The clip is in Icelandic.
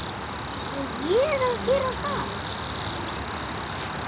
Á ÉG að gera það!!??